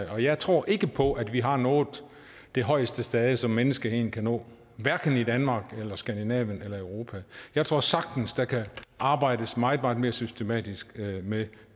og jeg tror ikke på at vi har nået det højeste stade som menneskeheden kan nå hverken i danmark eller skandinavien eller europa jeg tror sagtens der kan arbejdes meget meget mere systematisk med